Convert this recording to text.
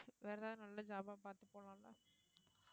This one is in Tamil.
வேற ஏதாவது நல்ல job ஆ பாத்து போலாம்ல